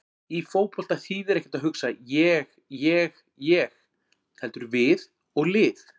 Í fótbolta þýðir ekkert að hugsa ég- ég- ég heldur við og lið.